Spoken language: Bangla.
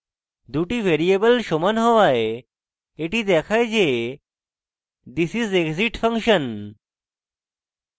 দুটি ভ্যারিয়েবল সমান হওয়ায় এটি দেখায় যে this is exit function